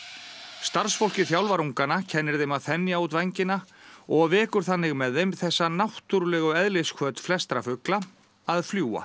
starfsfólkið þjálfar ungana kennir þeim að þenja út vængina og vekur þannig með þeim þessa náttúrulegu eðlishvöt flestra fugla að fljúga